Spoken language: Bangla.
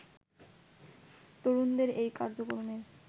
তরুণদের এই কার্যক্রমের